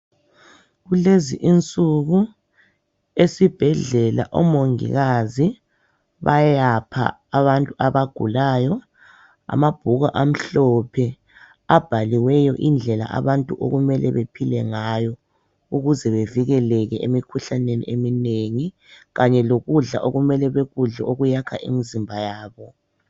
Kulezi insuku, esibhedlela omongikazi bayapha abantu abagulayo amabhuku amhlophe abaliweyo indlela abantu okummele bephile ngayo ukuze bevikeleke emikhuhlaneni eminengi kanye lokudla okummele bekudle okwakha imizimba yabo.